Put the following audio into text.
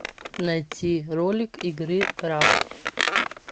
найти ролик игры крафт